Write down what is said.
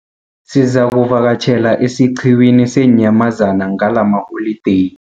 Sizakuvakatjhela esiqhiwini seenyamazana ngalamaholideyi.